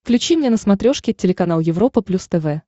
включи мне на смотрешке телеканал европа плюс тв